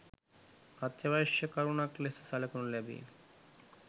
අත්‍යවශ්‍ය කරුණක් ලෙස සලකනු ලැබේ.